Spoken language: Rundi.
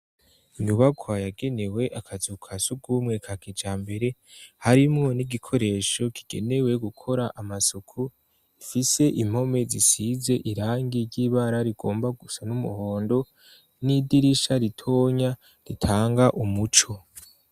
Inyubakwa yagenewe akazu ka sugumwe ka kijambere harimwo n'igikoresho kigenewe gukora amasuku mfise impome zisize irangi ry'ibara rigomba gusa n'umuhondo n'idirisha ritonya ritanga umuco.